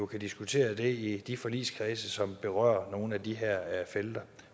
kan diskutere det i de forligskredse som berører nogle af de her felter